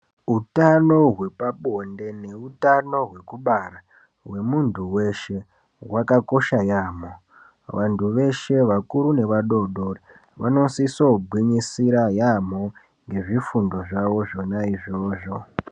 Utano hwepabonde neutano hwekubara hwemunhu weshe hwakakosha yaemho. Vanhu veshe vakuru nevadodori vanosisogwinyisira yaemho ngezvifundo zvavo zvona izvozvo.